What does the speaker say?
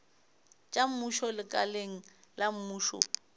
tša mmušo lekaleng la mmušo